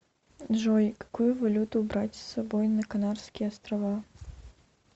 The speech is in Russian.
джой какую валюту брать с собой на канарские острова